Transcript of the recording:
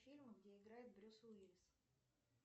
фильмы где играет брюс уиллис